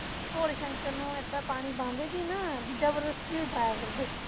ਭੋਲੇ ਸ਼ੰਕਰ ਨੂੰ ਏਹਦਾ ਪਾਣੀ ਪਾਉਂਦੇ ਸੀ ਨਾ ਬਈ ਜਬਰਦਸਤੀ ਹੀ ਪਾਇਆ ਕਰਦੇ ਸੀ